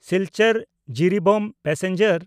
Silchar-Jiribam passenger